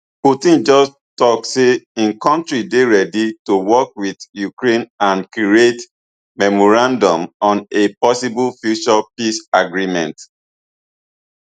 putin just tok say im kontri dey readi to work wit ukraine and create memorandum on a possible future peace agreement